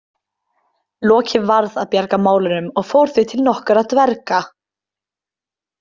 Loki varð að bjarga málunum og fór því til nokkurra dverga.